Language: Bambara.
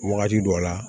Wagati dɔ la